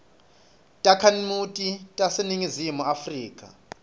takhamuti taseningizimu afrika